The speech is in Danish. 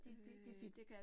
De de de fik